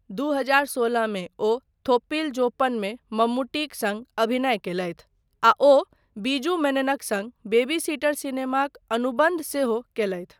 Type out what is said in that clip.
दू हजार सोलह मे, ओ थोप्पील जोप्पनमे मम्मुट्टीक सङ्ग अभिनय कयलथि, आ ओ बीजू मेननक सङ्ग बेबी सिटर सिनेमाक अनुबन्ध सेहो कयलथि।